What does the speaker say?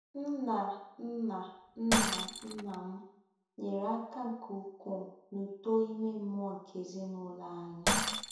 Nna nna Nna nna m nyere aka nke ukwuu n'uto ime mmụọ nke ezinụlọ anyị.